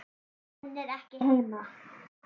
Hún er ekki heima.